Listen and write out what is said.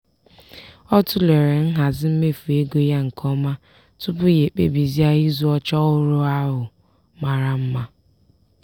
ọ tụlere nhazi mmefu ego ya nke ọma tupu ya ekpebizie ịzụ oche ọhụrụ ahụ mara mma.